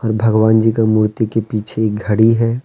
भगवान जी का मूर्ति के पीछे एक घड़ी है।